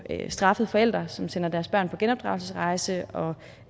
straffet forældre som sender deres børn på genopdragelsesrejse og